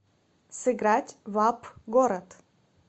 сыграть в апп город